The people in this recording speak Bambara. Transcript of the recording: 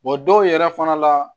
dɔw yɛrɛ fana la